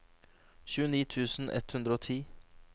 tjueni tusen ett hundre og ti